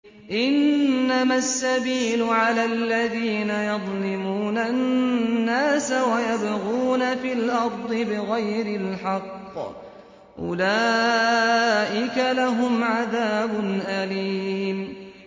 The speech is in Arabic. إِنَّمَا السَّبِيلُ عَلَى الَّذِينَ يَظْلِمُونَ النَّاسَ وَيَبْغُونَ فِي الْأَرْضِ بِغَيْرِ الْحَقِّ ۚ أُولَٰئِكَ لَهُمْ عَذَابٌ أَلِيمٌ